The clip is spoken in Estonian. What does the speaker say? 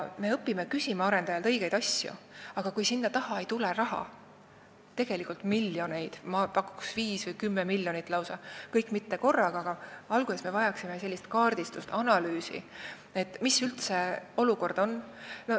Me õpime küsima arendajalt õigeid asju, aga selleks on vaja ka raha, tegelikult miljoneid – ma pakuks, et lausa viis või kümme miljonit –, küll mitte kõike korraga, sest alguses me vajaksime alles analüüsi, milline üldse olukord on.